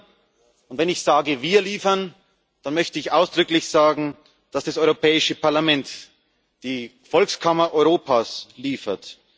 Wir liefern, und wenn ich sage Wir liefern, dann möchte ich ausdrücklich sagen, dass das Europäische Parlament die Volkskammer Europas liefert.